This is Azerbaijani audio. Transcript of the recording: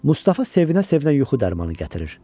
Mustafa sevinə-sevinə yuxu dərmanını gətirir.